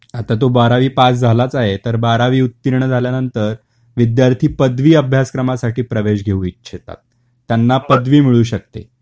आता तो बारावी पास झालाच आहे तर बारावी उत्तीर्ण झाल्यानंतर विद्यार्थी पदवी अभ्यास क्रमासाठी प्रवेश घेऊ इच्छितात त्यांना पदवी मिळू शकते